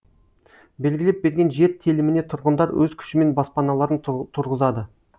белгілеп берген жер теліміне тұрғындар өз күшімен баспаналарын тұрғызады